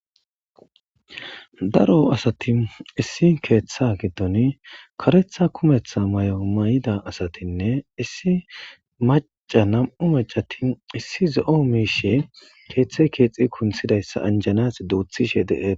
daro asati issi keeththa giddon karetha kumetha may7o may7ida asatinne issi maca nam7u mecati issi zo7o miishe keeththe keexxi kunthidayssa anjanas duuthishe de'tes